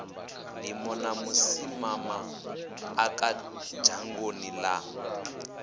ndimo na vhusimamaḓaka dzhangoni ḽa